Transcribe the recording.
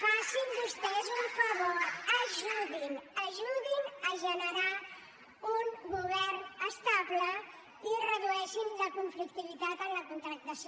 facin vostès un favor ajudin ajudin a generar un govern estable i redueixin la conflictivitat en la contractació